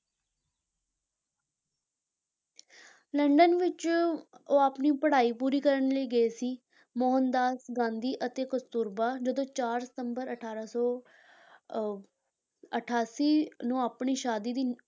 London ਵਿੱਚ ਉਹ ਆਪਣੀ ਪੜ੍ਹਾਈ ਪੂਰੀ ਕਰਨ ਲਈ ਗਏ ਸੀ, ਮੋਹਨ ਦਾਸ ਗਾਂਧੀ ਅਤੇ ਕਸਤੂਰਬਾ ਜਦੋਂ ਚਾਰ ਸਤੰਬਰ ਅਠਾਰਾਂ ਸੌ ਅਹ ਅਠਾਸੀ ਨੂੰ ਆਪਣੀ ਸ਼ਾਦੀ ਦੀ